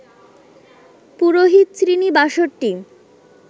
পুরোহিত-শ্রেণী ৬২